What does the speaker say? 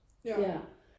Ja